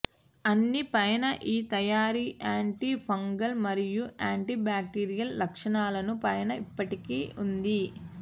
అన్ని పైన ఈ తయారీ యాంటీ ఫంగల్ మరియు యాంటీ బాక్టీరియల్ లక్షణాలను పైన ఇప్పటికీ ఉంది